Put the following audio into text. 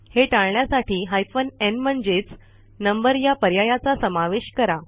हे टाळण्यासाठी hyphen n म्हणजेच नंबर या पर्यायाचा समावेश करा